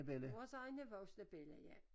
Vores egne voksne bella ja